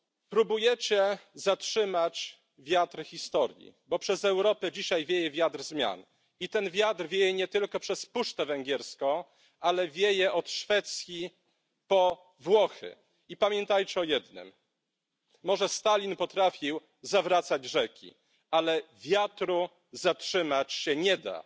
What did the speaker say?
Próbujecie zatrzymać wiatr historii, bo przez Europę dzisiaj wieje wiatr zmian i ten wiatr wieje nie tylko przez puszczę węgierską, ale wieje od Szwecji po Włochy, i pamiętajcie o jednym może Stalin potrafił zawracać rzeki, ale wiatru zatrzymać się nie da.